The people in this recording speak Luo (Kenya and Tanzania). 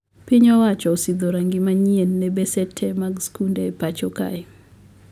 Piny owacho osidho rangi manyie ne bese tee mag skunde e pacho kae